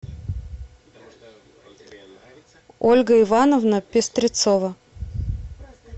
ольга ивановна пестрецова